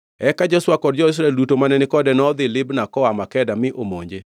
Eka Joshua kod jo-Israel duto mane ni kode nodhi Libna koa Makeda mi omonje.